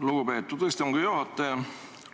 Lugupeetud istungi juhataja!